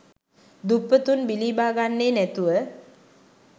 දුප්පතුන් බිලිබාගන්නේ නැතුව.